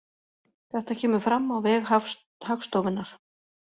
Þetta kemur fram á vef Hagstofunnar